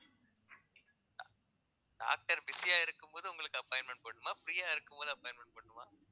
doctor busy ஆ இருக்கும்போது உங்களுக்கு appointment போடணுமா free ஆ இருக்கும்போது appointment போடணுமா